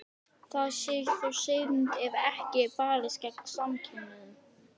Það sé þó synd ef ekki sé barist gegn samkynhneigð.